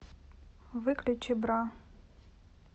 выключи бра